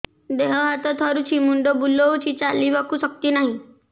ଦେହ ହାତ ଥରୁଛି ମୁଣ୍ଡ ବୁଲଉଛି ଚାଲିବାକୁ ଶକ୍ତି ନାହିଁ